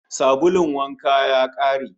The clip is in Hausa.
Sabulun wanka ya kare